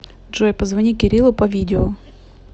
джой позвони кириллу по видео